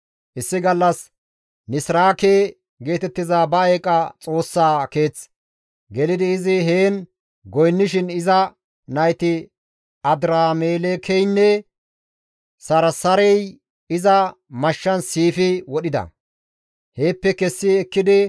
Issi gallas Nisraake geetettiza ba eeqa xoossaa keeth gelidi izi heen goynnishin iza nayti Adiramelekeynne Sarsarey iza mashshan siifi wodhida; heeppe kessi ekkidi Araraate gakkanaas baqatida; iza naa Aseradooney izasohon kawotides.